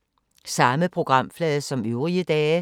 Samme programflade som øvrige dage